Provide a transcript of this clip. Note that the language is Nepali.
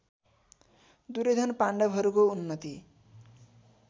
दुर्योधन पाण्डवहरूको उन्नति